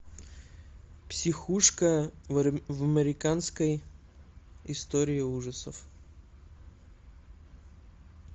психушка в американской истории ужасов